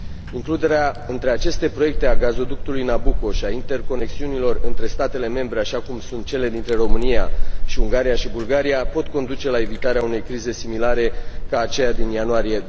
Includerea între aceste proiecte a gazoductului Nabucco și a interconexiunilor între statele membre, așa cum sunt cele dintre România, Ungaria și Bulgaria, pot conduce la evitarea unei crize similare celei din ianuarie